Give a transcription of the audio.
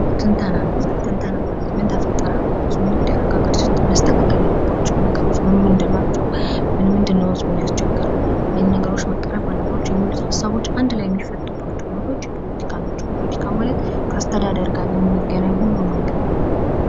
ትንተናን ይይዛል። ትንተና ማለት ምን ተፈጠረ ሃገሪቱ ውስጥ ምን ይደረግ፣ ሀገሪቱ ውስጥ መስተካከል ያለባቸው ነገሮች ምን ምንድን ናቸው። ምን ምንድን ነው ህዝቡን ያስቸገረው፣ ምን ምን መቀረፍ አለባቸው የሚሉት ሃሳቦች በአንድ ላይ የሚፈቱቦቸው ቦታዎች የፖለቲካ ናቸው። ፖለቲካ ማለት ከአስተዳደር ጋር የሚገናኝ ሁሉም ነገር ነው።